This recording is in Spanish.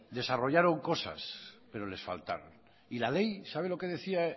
desarrollaron cosas pero les faltaron y la ley sabe lo que decía